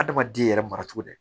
Adamaden yɛrɛ mara cogo di